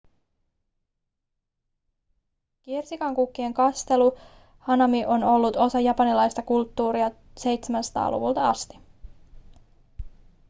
kirsikankukkien katselu eli hanami on ollut osa japanilaista kulttuuria 700-luvulta asti